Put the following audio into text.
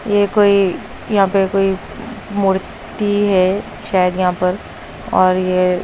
ये कोई यहां पे कोई मूर्ति है शायद यहां पर और ये --